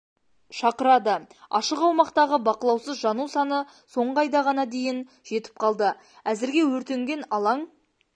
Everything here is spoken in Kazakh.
шақырады ашық аумақтағы бақылаусыз жану саны соңғы айда ғана дейін жетіп қалды әзірге өртенген алаң